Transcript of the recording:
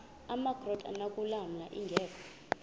amakrot anokulamla ingeka